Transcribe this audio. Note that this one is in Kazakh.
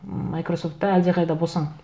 майкрософтта әлдеқайда босаң